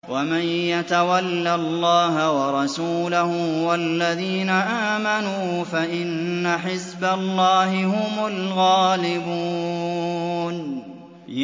وَمَن يَتَوَلَّ اللَّهَ وَرَسُولَهُ وَالَّذِينَ آمَنُوا فَإِنَّ حِزْبَ اللَّهِ هُمُ الْغَالِبُونَ